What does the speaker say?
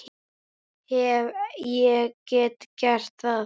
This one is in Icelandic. Hef ég ekki gert það?